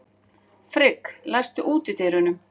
Frigg, læstu útidyrunum.